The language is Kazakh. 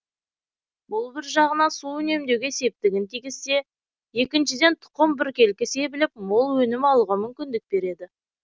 бұл бір жағынан су үнемдеуге септігін тигізсе екіншіден тұқым біркелкі себіліп мол өнім алуға мүмкіндік береді